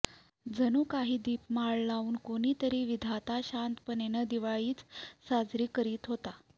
जणू काही दीपमाळ लावून कोणीतरी विधाता शांतपणे दिवाळीच साजरी करीत होता